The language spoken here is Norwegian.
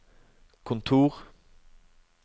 kontor